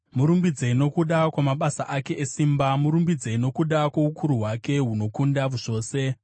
Murumbidzei nokuda kwamabasa ake esimba; murumbidzei nokuda kwoukuru hwake hunokunda zvose.